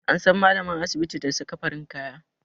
An san malamar asibiti da saka farin kaya